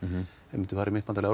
ef við myndum fara í myntbandalag